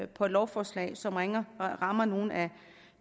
på et lovforslag som rammer nogle af